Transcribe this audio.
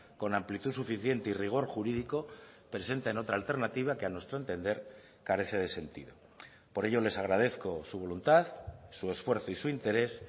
con amplitud suficiente y rigor jurídico presenten otra alternativa que a nuestro entender carece de sentido por ello les agradezco su voluntad su esfuerzo y su interés